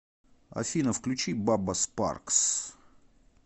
афина включи бабба спаркс